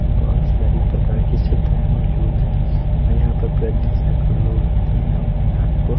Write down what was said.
बहोत सारी प्रकार की सुविधाएं मौजूद हैं और यहां पर प्रतिदिन सैंकड़ो लोग आते हैं यहां अपने आप को--